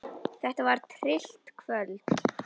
Þetta var tryllt kvöld.